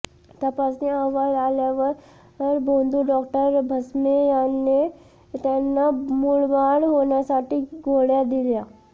तपासणी अहवाल आल्यावर भोंदू डॉक्टर भस्मे याने त्यांना मुलबाळ होण्यासाठी गोळ्या दिल्या